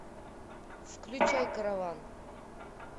включай караван